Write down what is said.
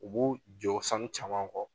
U b'u jɔ sanu caman kɔ.